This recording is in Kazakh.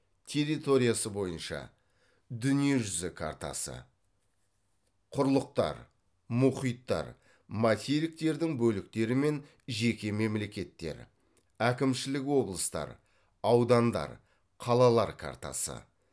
территориясы бойынша дүниежүзі картасы құрлықтар мұхиттар материктердің бөліктері мен жеке мемлекеттер әкімшілік облыстар аудандар қалалар картасы